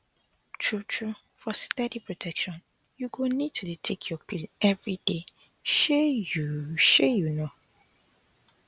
truetrue for steady protection you go need to dey take your pill everyday shey you shey you know